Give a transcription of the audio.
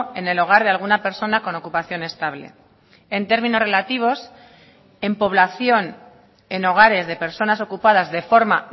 en el hogar de alguna persona con ocupación estable en términos relativos en población en hogares de personas ocupadas de forma